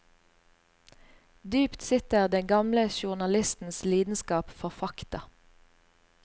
Dypt sitter den gamle journalistens lidenskap for fakta.